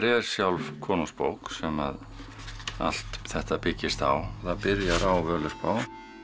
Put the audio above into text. er sjálf konungsbók sem allt þetta byggist á það byrjar á Völuspá